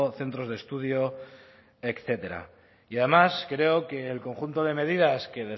centros de estudio etcétera y además creo que el conjunto de medidas que